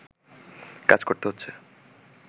কাজ করতে হচ্ছে